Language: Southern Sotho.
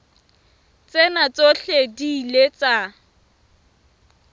tsena tsohle di ile tsa